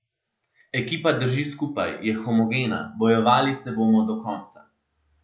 Ekipa drži skupaj, je homogena, bojevali se bomo do konca.